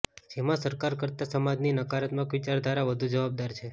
જેમા સરકાર કરતા સમાજની નકારાત્મક વિચારધારા વધુ જવાબદાર છે